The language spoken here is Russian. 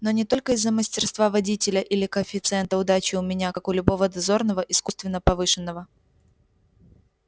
но не только из-за мастерства водителя или коэффициента удачи у меня как у любого дозорного искусственно повышенного